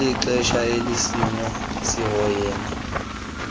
ngelixesha isikimu sihoyene